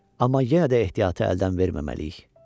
Amma yenə də ehtiyatı əldən verməməliyik.